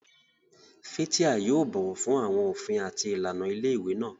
Fathia yóò bọ̀wọ̀ fún àwọn òfin àti ìlànà ilé ìwé náà.